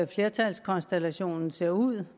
flertalskonstellationen ser ud